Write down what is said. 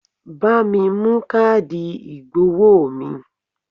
Bá mi mú káàdì ìgbowó mi!